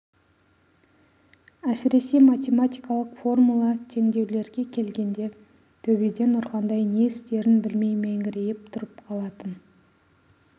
әсіресе математикалық формула теңдеулерге келгенде төбеден ұрғандай не істерін білмей меңірейіп тұрып қалатын